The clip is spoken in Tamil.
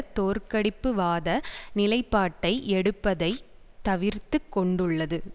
தோற்கடிப்புவாத நிலைப்பாட்டை எடுப்பதை தவிர்த்து கொண்டுள்ளது